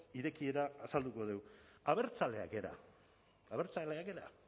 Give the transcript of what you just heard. irekiera azalduko dugu abertzaleak gara abertzaleak gara